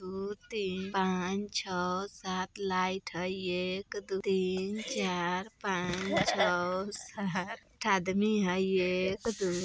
एक दो तिन पांच छो सात लाइट हय| एक दो तीन चार पांच छो सात आठ आदमी है| एक दो--